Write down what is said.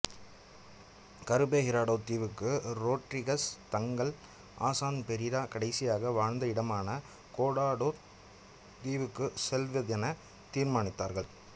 கருபே ஹிராடோத் தீவுக்கும் ரொட்ரிகஸ் தங்கள் ஆசான் பெரிரா கடைசியாக வாழ்ந்த இடமான கோடோத் தீவுக்கும் செல்வதென தீர்மானித்தார்கள்